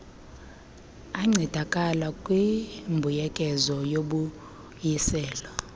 ancedakala kwimbuyekezo yobuyiselo